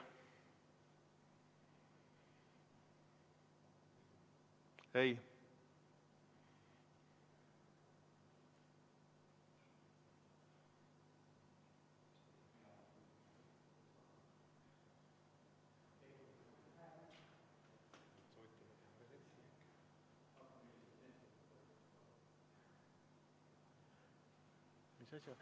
Ei.